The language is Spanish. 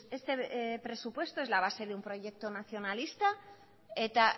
este presupuesto es la base de un proyecto nacionalista eta